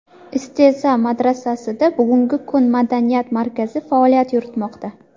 Isteza madrasasida bugungi kunda madaniyat markazi faoliyat yuritmoqda.